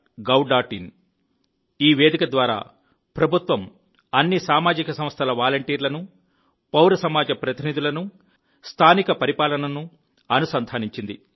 in | ఈ వేదిక ద్వారా ప్రభుత్వం అన్ని సామాజిక సంస్థల వాలంటీర్లను పౌర సమాజ ప్రతినిధులను స్థానిక పరిపాలనను అనుసంధానించింది